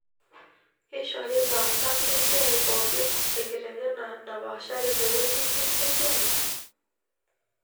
Keishori laasak lesiai pookin enkitengena napaashari tewueji inyi esiai?